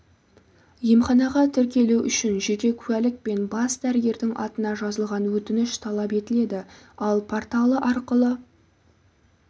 емханаға тіркелу үшін жеке куәлік пен бас дәрігердің атына жазылған өтініш талап етіледі ал порталы арқылы